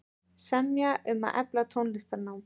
Semja um að efla tónlistarnám